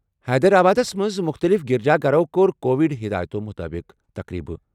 حیدرآبادَس منٛز مُختٔلِف گِرجا گرَو کوٚر کووڈ ہِدایتو مطٲبِق تقریبہ